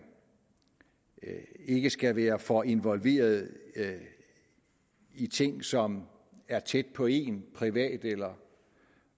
ikke skal være for involveret i ting som er tæt på én privat eller